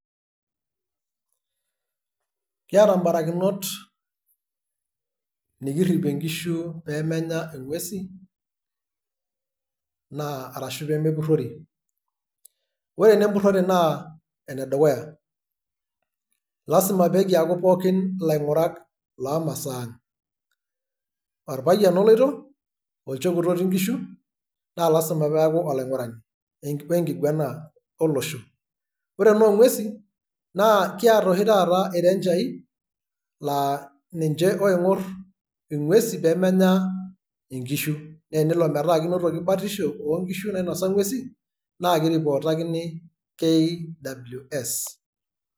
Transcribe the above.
Kiata barakinot nikirripie nkishu pemenya ing'uesin, na arashu pemepurrori. Ore enapurrore naa enedukuya, lasima pekiaku pookin ilaing'urak lomasaa. Orapayian oloito, olchekut otii nkishu, na lasima peeku olaing'urani lekipuo ekiguana olosho. Ore ena o ng'uesin naa kiata oshi taata irenjai, la ninche oing'oe ing'uesin pemenya inkishu. Na tenelo metaa enotoki batisho o nkishu nainosa ng'uesin, na kiripootakini kws.